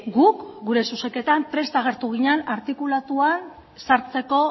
guk gure zuzenketan prest agertu ginen artikulatuan sartzeko